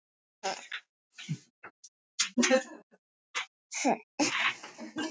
En kom eitthvað á óvart hjá Mexíkóunum?